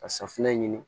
Ka safunɛ ɲini